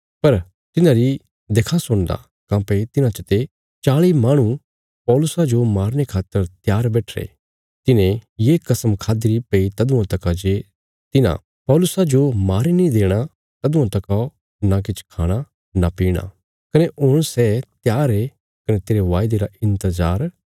पर तिन्हांरी देखां सुणदा काँह्भई तिन्हां चते चाल़ी माहणु पौलुसा जो मारने खातर त्यार बैठिरे तिन्हें ये कसम खाद्दीरी भई तदुआं तका जे तिन्हां पौलुसा जो मारी नीं देणा तदुआं तका नां किछ खाणा नां पीणा कने हुण सै त्यार ये कने तेरे बायदे रा इन्तजार करया रायें